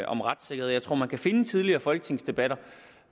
om retssikkerhed jeg tror man kan finde tidligere folketingsdebatter